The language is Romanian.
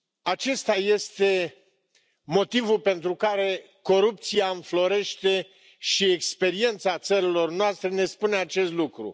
Acesta este motivul pentru care corupția înflorește și experiența țărilor noastre ne spune acest lucru.